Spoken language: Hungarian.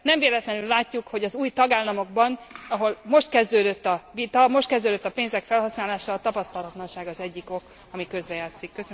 Nem véletlenül látjuk, hogy az új tagállamokban, ahol most kezdődött a vita, most kezdődött a pénzek felhasználása, a tapasztalanság az egyik ok, ami közrejátszik.